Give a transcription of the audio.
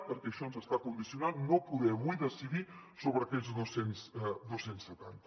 perquè això ens està condicionant no poder avui decidir sobre aquests dos cents i setanta